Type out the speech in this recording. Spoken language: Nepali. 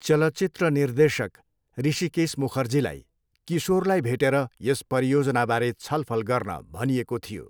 चलचित्र निर्देशक हृषिकेश मुखर्जीलाई किशोरलाई भेटेर यस परियोजनाबारे छलफल गर्न भनिएको थियो।